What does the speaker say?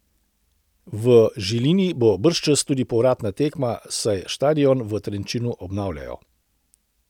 V Žilini bo bržčas tudi povratna tekma, saj štadion v Trenčinu obnavljajo.